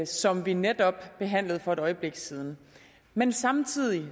som vi netop behandlede for et øjeblik siden men samtidig